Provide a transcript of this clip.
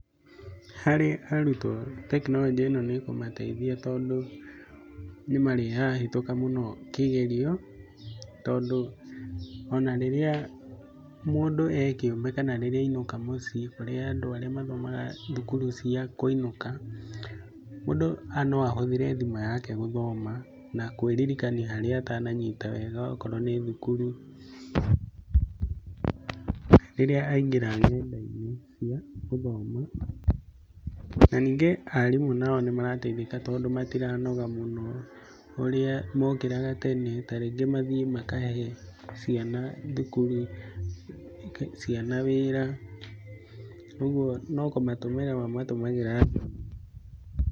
Harĩ arutwo tekinoronjĩ ĩno nĩkũmateithia tondũ, nĩmarĩhĩtũkaga mũno kĩgerio, tondũ ona rĩrĩa mũndũ e kĩũmbe kana rĩrĩa ainũka mũciĩ kũrĩ andũ arĩa mathomaga cukuru cia kũinũka, mũndũ no ahũthĩre thimũ yake gũthoma na kwĩririkania harĩa atananyita wega akorwo nĩ thukuru, rĩrĩa aingĩra ng'enda-inĩ cia gĩthomo. Na ningĩ aarimũ nĩmarateithĩka, tondũ matiranoga mũno ũrĩa mokĩraga tene ta rĩngĩ mathiĩ makahe ciana thukuru, ciana wĩra, ũguo no kũmatũmĩra mamatũmagĩra thimũ-inĩ.